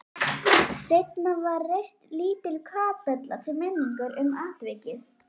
Seinna var reist lítil kapella til minningar um atvikið.